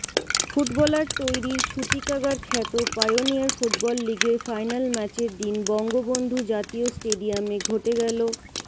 footballer তৈরীর সূতীকাগার খ্যাত পাইওনিয়র ফুটবল লিগের ফাইনাল ম্যাচের দিন বঙ্গবন্ধু জাতীয় স্টেডিয়ামে ঘটে গেল